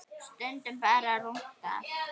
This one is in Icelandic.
Stundum bara rúntað.